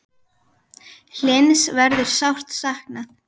Hlyns verður sárt saknað.